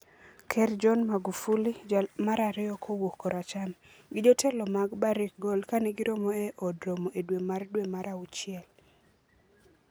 Ker John Magufuli, jal mar ariyo kowuok koracham, gi jotelo mag Barrick Gold kane giromo e Od Romo e dwe mar dwe mar awuchiel 14.